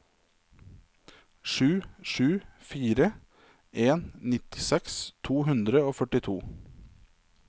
sju sju fire en nittiseks to hundre og førtito